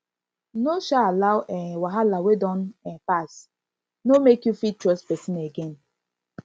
no um allow um wahala wey don um pass no mek you fit trust pesin again